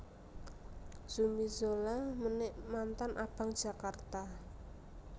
Zumi Zola menik mantan Abang Jakarta